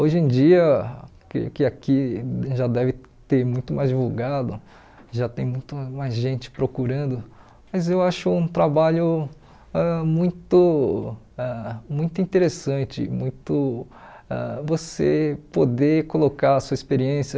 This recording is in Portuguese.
Hoje em dia, que que aqui já deve ter muito mais divulgado, já tem muita mais gente procurando, mas eu acho um trabalho ãh muito ãh muito interessante, muito ãh você poder colocar a sua experiência.